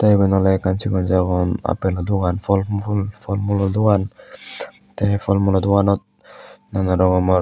tey iben oley ekkan sigon sagon apelo dogan fhol fhool fhool mulo dogan the fhol mulo doganot nana rokomor.